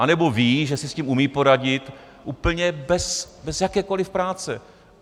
Anebo ví, že si s tím umí poradit úplně bez jakékoliv práce.